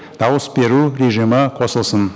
дауыс беру режимі қосылсын